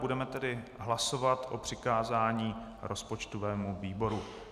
Budeme tedy hlasovat o přikázání rozpočtovému výboru.